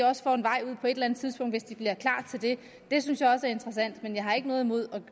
også får en vej ud på et eller andet tidspunkt hvis de bliver klar til det det synes jeg også er interessant men jeg har ikke noget imod